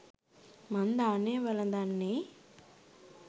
මං දානය වළඳන්නේ